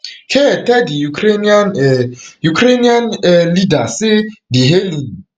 keir tell di ukrainian um ukrainian um leader say di hailing